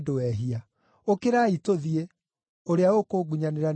Ũkĩrai, tũthiĩ! Ũrĩa ũkũngunyanĩra nĩarooka.”